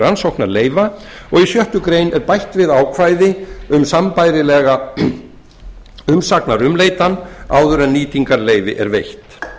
rannsóknarleyfa og í sjöttu grein er bætt við ákvæði um sambærilega umsagnarumleitan áður en nýtingarleyfi er veitt loks